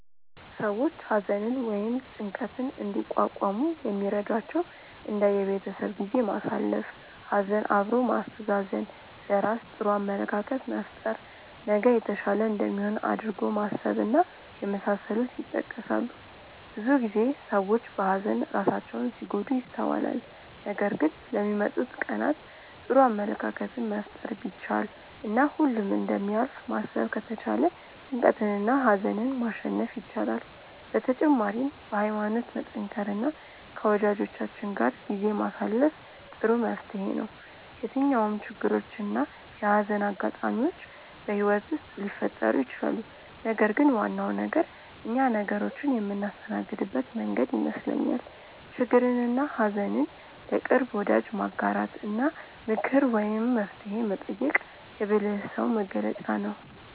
ሰዎች ሀዘንን ወይም ጭንቀትን እንዲቋቋሙ የሚረዷቸው እንደ የቤተሰብ ጊዜ ማሳለፍ፣ ሀዘን አብሮ ማስተዛዘን፣ ለራስ ጥሩ አመለካከት መፍጠር፣ ነገ የተሻለ እንደሚሆን አድርጎ ማሰብ እና የመሳሰሉት ይጠቀሳሉ። ብዙ ጊዜ ሰዎች በሀዘን ራሳቸውን ሲጎዱ ይስተዋላል ነገር ግን ለሚመጡት ቀናት ጥሩ አመለካከትን መፍጠር ቢቻል እና ሁሉም እንደሚያልፍ ማሰብ ከተቻለ ጭንቀትንና ሀዘንን ማሸነፍ ይቻላል። በተጨማሪም በሀይማኖት መጠንከር እና ከወጃጆቻችን ጋር ጊዜ ማሳለፍ ጥሩ መፍትሔ ነው። የትኛውም ችግሮች እና የሀዘን አጋጣሚዎች በህይወት ውስጥ ሊፈጠሩ ይችላሉ ነገር ግን ዋናው ነገር እኛ ነገሮችን የምናስተናግድበት መንገድ ይመስለኛል። ችግርንና ሀዘን ለቅርብ ወዳጅ ማጋራት እና ምክር ወይም መፍትሔ መጠየቅ የብልህ ሰው መገለጫ ነው።